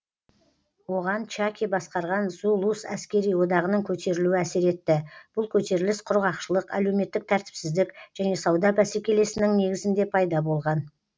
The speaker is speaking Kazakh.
оған чаки басқарған зулус әскери одағының көтерілуі әсер етті бұл көтеріліс құрғақшылық әлеуметтік тәртіпсіздік және сауда бәсекелесінің негізінде пайда болған